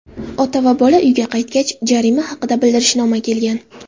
Ota va bola uyga qaytgach, jarima haqida bildirishnoma kelgan.